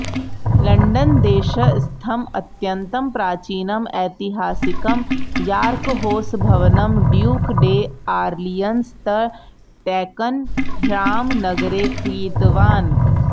लण्डनदेशस्थम् अत्यन्तं प्राचीनम् ऐतिहासिकं यार्कहौस् भवनं ड्यूक् डे अर्लियन्स् तः टैकन् ह्याम् नगरे क्रीतवान्